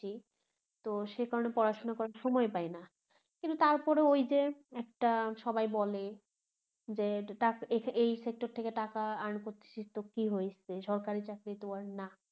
তো সেকারনে পড়াশুনা করার সময় পাই না কিন্তু তারপরো ঐযে একটা সবাই বলে যে এই sector থেকে টাকা earn করতেছিস তো কি হয়েছে সরকারি চাকরিতো আর না